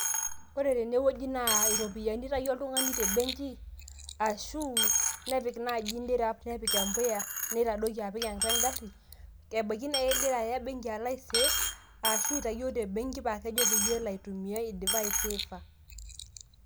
ore tenewueji naa iropiyiani eitayio oltung'ani te m'benki ashuu nepik naaji nirup nepik empuya neitadoiki apik atua en'gari, ebaiki naa kegira aya em'benki alo ai save ashu itayio tem'benki paa kejo peyie elo aitumia eidapa aiseefa.